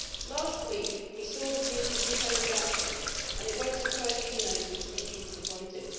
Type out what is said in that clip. Last week, we saw the Commission's proposed action and it will not surprise you to know that we were deeply disappointed.